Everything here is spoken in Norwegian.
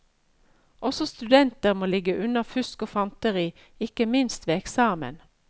Også studenter må ligge unna fusk og fanteri, ikke minst ved eksamen.